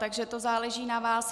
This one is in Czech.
Takže to záleží na vás.